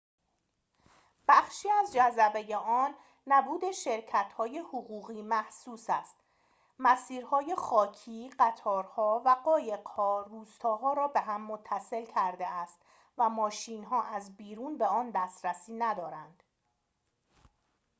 بخشی از جذبه آن نبود شرکت‌های حقوقی محسوس است مسیرهای خاکی قطارها و قایق‌ها روستاها را به هم متصل کرده است و ماشین‌ها از بیرون به آن دسترسی ندارند